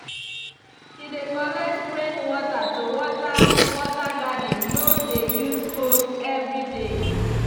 he dey collect rainwater to water water garden no dey use hose every day.